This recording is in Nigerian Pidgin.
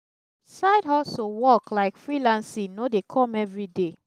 side hustle work like freelancing no de come every day